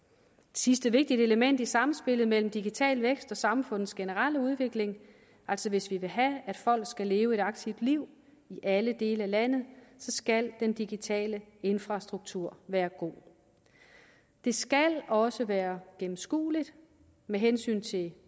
sidste vigtigt element i samspillet mellem digital vækst og samfundets generelle udvikling altså hvis vi vil have at folk skal leve et aktivt liv i alle dele af landet skal den digitale infrastruktur være god det skal også være gennemskueligt med hensyn til